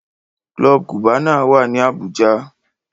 Club Cubana wá ní Abuja.